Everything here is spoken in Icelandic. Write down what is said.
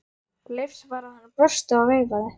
Leifs var að hann brosti og veifaði.